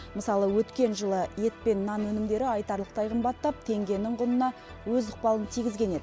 мысалы өткен жылы ет пен нан өнімдері айтарлықтай қымбаттап теңгенің құнына өз ықпалын тигізген еді